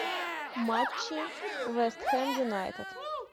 матчи вест хэм юнайтед